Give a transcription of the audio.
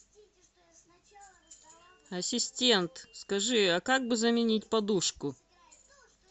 ассистент скажи а как бы заменить подушку